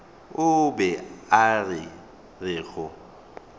o be a re go